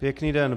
Pěkný den.